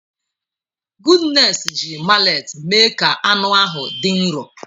Goodness ji mallet mee ka anụ ahụ dị nro.